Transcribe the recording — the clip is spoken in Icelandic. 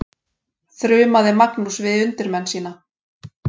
þrumaði Magnús yfir undirmenn sína.